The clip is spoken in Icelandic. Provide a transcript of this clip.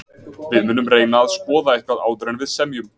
Við munum reyna að skoða eitthvað áður en við semjum.